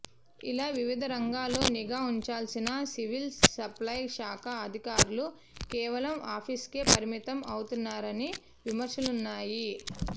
ఇలా వివిధ ర ంగాల్లో నిఘా ఉంచాల్సిన సివిల్ సప్లై శాఖ అధికారులు కేవలం ఆఫీస్కే పరిమితం అవుతున్నారని విమర్శలున్నాయి